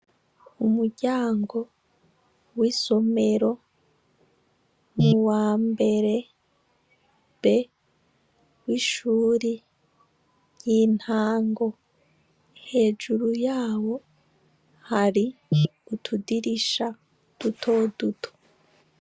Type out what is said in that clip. Umuryango wisomero wambere B wishure ry'intango , hejuru yawo hari utudirisha dutoduto .